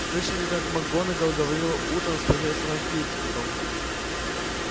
слышали как макгонагалл говорила утром с профессором флитвиком